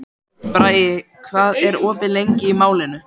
Bragi, hvað er opið lengi í Málinu?